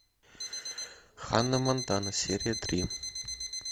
ханна монтана серия три